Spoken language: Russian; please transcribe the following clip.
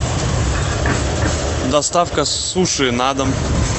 доставка суши на дом